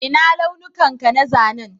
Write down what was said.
Ina launukan ka na zanen?